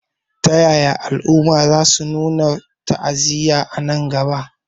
Ta yaya al'umma za su nuna ta'aziyya a nan gaba?